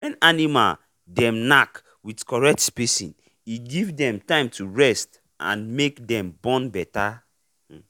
when animal dem knack with correct spacing e give dem time to rest and make dem born better um